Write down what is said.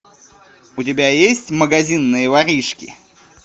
у тебя есть магазинные воришки